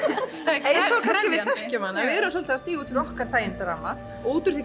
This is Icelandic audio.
og kannski við þekkjum hana við erum svolítið að stíga út fyrir okkar þægindaramma og út úr því